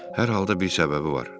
Hər halda bir səbəbi var.